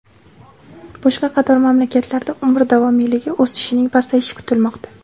Boshqa qator mamlakatlarda umr davomiyligi o‘sishining pasayishi kutilmoqda.